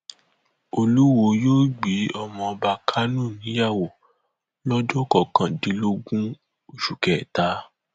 kò sóhun tó burú nínú kí mùsùlùmí jẹ ààrẹ àti igbákejì onígbàgbọ níyàwó tìǹbù